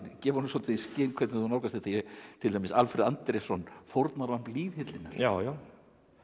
gefa svolítið í skyn hvernig þú nálgast þetta til dæmis Alfred Andrésson fórnarlamb lýðhyllinnar já já